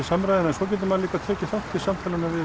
samræður en svo getur maður líka tekið þátt í samtalinu við